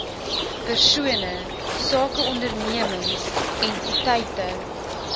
persone sakeondernemings entiteite